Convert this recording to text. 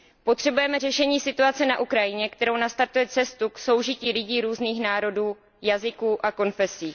Potřebujeme řešení situace na Ukrajině, které nastartuje cestu k soužití lidí různých národů, jazyků a konfesí.